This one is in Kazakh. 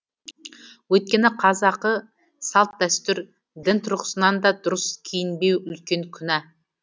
өйткені қазақы салт дәстүр дін тұрғысынан да дұрыс киінбеу үлкен күнә